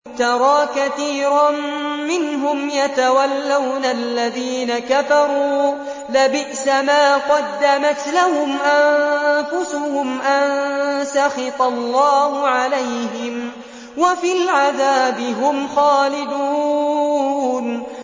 تَرَىٰ كَثِيرًا مِّنْهُمْ يَتَوَلَّوْنَ الَّذِينَ كَفَرُوا ۚ لَبِئْسَ مَا قَدَّمَتْ لَهُمْ أَنفُسُهُمْ أَن سَخِطَ اللَّهُ عَلَيْهِمْ وَفِي الْعَذَابِ هُمْ خَالِدُونَ